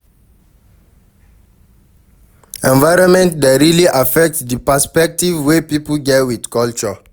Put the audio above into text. Environment dey really affect di perspective wey pipo get with culture